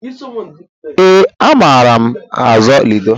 Ee, amaara azụ ludo.